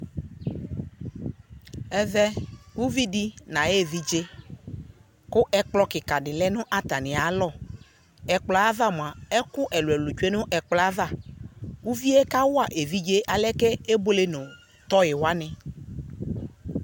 Ɛvɛ, uvi de no aye evidze ko ɛkplɔ kika de lɛ no atanea lɔƐkplɔ ava moa, ɛku ɛluɛlu tsue no ava Uvie kawa evidze alɛ ko ebuele no tɔi wane